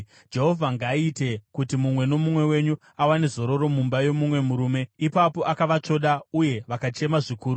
Jehovha ngaaite kuti mumwe nomumwe wenyu awane zororo mumba yomumwe murume.” Ipapo akavatsvoda uye vakachema zvikuru.